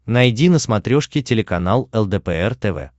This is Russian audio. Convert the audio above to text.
найди на смотрешке телеканал лдпр тв